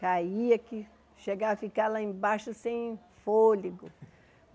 Caía que chegava a ficar lá embaixo sem fôlego.